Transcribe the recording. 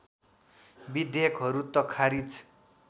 विधेयकहरू त खारिज